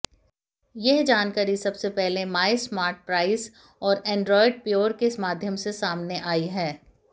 यह जानकारी सबसे पहले मायस्मार्टप्राइस और एंड्राइड प्योर के माध्यम से सामने आई है